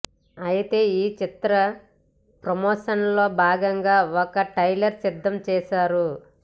అయితే ఈ చిత్ర ప్రమోషన్లో భాగంగా ఒక ట్రైలర్ సిద్ధం చేశారు